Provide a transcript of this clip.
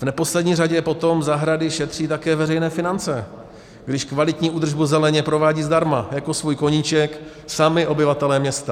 V neposlední řadě potom zahrady šetří také veřejné finance, když kvalitní údržbu zeleně provádí zdarma jako svůj koníček sami obyvatelé města.